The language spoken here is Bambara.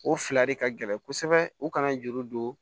O fila de ka gɛlɛn kosɛbɛ u kana juru don